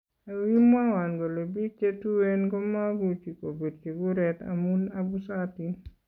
"Ako kinwawon kole biik chetueen komakuchi kopirchii kureet amun abusatiin